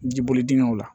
Jiboli dingɛw la